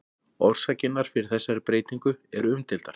Orsakirnar fyrir þessari breytingu eru umdeildar.